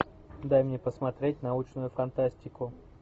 дай мне посмотреть научную фантастику